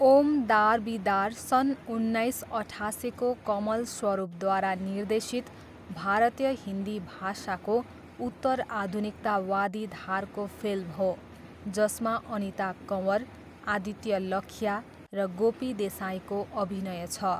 ओम दार बी दार सन् उन्नाइस अठासीको कमल स्वरूपद्वारा निर्देशित भारतीय हिन्दी भाषाको उत्तरआधुनिकतावादी धारको फिल्म हो जसमा अनिता कँवर, आदित्य लखिया र गोपी देसाईको अभिनय छ।